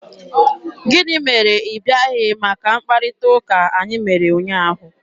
Gịnị mere ị bịaghị maka mkparịta ụka anyị mere ụnyaahụ?